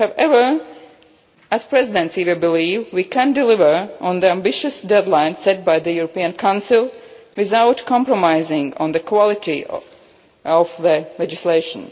proposal. However, as the Presidency, we believe we can deliver on the ambitious deadline set by the European Council without compromising on the quality of the legislation.